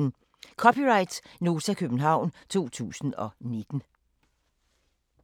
(c) Nota, København 2019